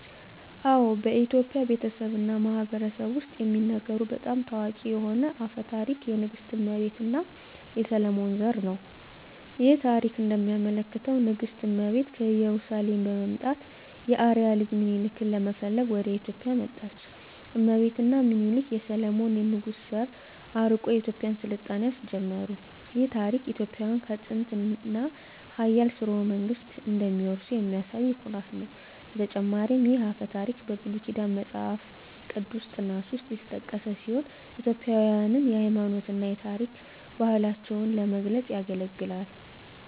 አዎ፣ በኢትዮጵያ ቤተሰብ እና ማህበረሰብ ውስጥ የሚነገሩ በጣም ታዋቂ የሆነ አፈ ታሪክ የንግሥት እመቤት እና የሰሎሞን ዘር ነው። ይህ ታሪክ እንደሚያመለክተው ንግሥት እመቤት ከኢየሩሳሌም በመምጣት የአርአያ ልጅ ሚኒሊክን ለመፈለግ ወደ ኢትዮጵያ መጣች። እመቤት እና ሚኒሊክ የሰሎሞን ንጉሥ ዘር አርቆ የኢትዮጵያን ሥልጣኔ አስጀመሩ። ይህ ታሪክ ኢትዮጵያውያን ከጥንታዊ እና ኃያል ሥርወ መንግሥት እንደሚወርሱ የሚያሳይ ኩራት ነው። በተጨማሪም ይህ አፈ ታሪክ በብሉይ ኪዳን መጽሐፍ ቅዱስ ጥናት ውስጥ የተጠቀሰ ሲሆን ኢትዮጵያውያንን የሃይማኖት እና የታሪክ ባህላቸውን ለመግለጽ ያገለግላል።